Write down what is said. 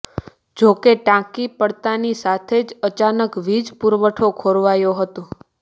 જો કે ટાંકી પડતાની સાથે જ અચાનક વીજ પુરવઠો ખોરવાયો હતો